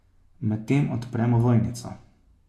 Medtem odprem ovojnico.